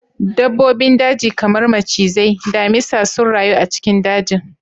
Dabbobin daji kamar macizai, damisa sun rayu a cikin dajin